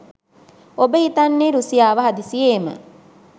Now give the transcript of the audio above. ඔබ හිතන්නෙ රුසියාව හද්ස්සියෙම